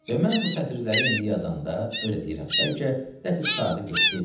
Və mən bu sətirləri indi yazanda öz deyirəm, bəlkə dəxi qurtardı getdi.